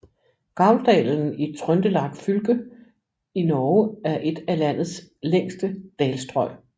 Gauldalen i Trøndelag fylke i Norge er et af landets længste dalstrøg